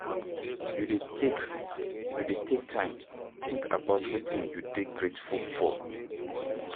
You dey take, you dey take time think about wetin you dey grateful for?